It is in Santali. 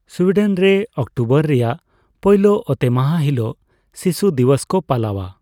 ᱥᱩᱭᱰᱮᱱ ᱨᱮ, ᱚᱠᱴᱳᱵᱚᱨ ᱨᱮᱭᱟᱜ ᱯᱳᱭᱞᱳ ᱚᱛᱮᱢᱟᱦᱟ ᱦᱤᱞᱳᱜ ᱥᱤᱥᱩ ᱫᱤᱵᱚᱥ ᱠᱚ ᱯᱟᱞᱟᱣᱟ ᱾